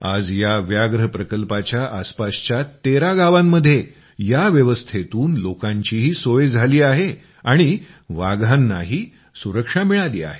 आज या व्याघ्र प्रकल्पाच्या आसपासच्या तेरा गावांमध्ये या व्यवस्थेतून लोकांचीही सोय झाली आहे आणि वाघांनाही सुरक्षा मिळाली आहे